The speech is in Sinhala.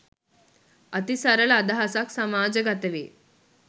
අති සරල අදහසක් සමාජගත වේ